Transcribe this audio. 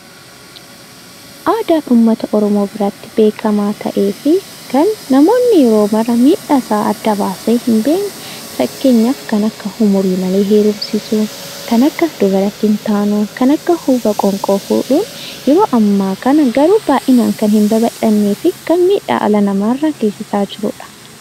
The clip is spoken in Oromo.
Aadaan uummata Oromoo biratti beekamaa ta'ee fi kan namoonni yeroo mara miidhaasaa adda baasee hin beekne fakkeenyaaf kan akka umurii malee heerumsiisuu, kan akka dubara kittaanuu, kan akka huuba qoonqoo fuudhuun yeroo ammaa kana garuu baay'inaan kan hin babal'annee fi kan miidhaa dhala namaa irra geessisaa jirudha.